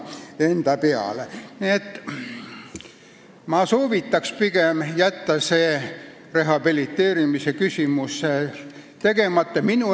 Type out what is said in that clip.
Nii et ma soovitan pigem jätta rehabiliteerimise küsimusega tegelemata.